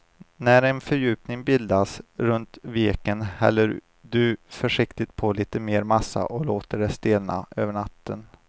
När en fördjupning bildats runt veken häller du försiktigt på lite mer massa och låter det stelna över natten.